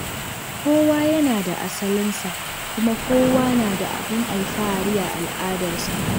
Kowa yana da asalinsa, kuma kowa na da abin alfahari a al’adarsa.